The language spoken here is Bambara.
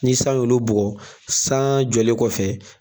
Ni san y'olu bugɔ san jɔlen kɔfɛ.